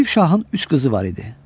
Yusif şahın üç qızı var idi.